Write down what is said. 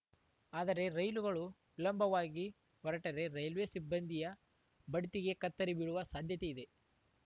ಆದರೆ ರೈಲುಗಳು ವಿಳಂಬವಾಗಿ ಹೊರಟರೆ ರೈಲ್ವೆ ಸಿಬ್ಬಂದಿಯ ಬಡ್ತಿಗೇ ಕತ್ತರಿ ಬೀಳುವ ಸಾಧ್ಯತೆ ಇದೆ